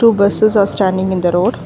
two buses are standing in the road.